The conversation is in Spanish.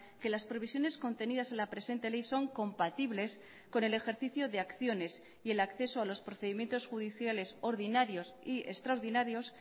que las previsiones contenidas en la presente ley son compatibles con el ejercicio de acciones y el acceso a los procedimientos judiciales ordinarios y extraordinarios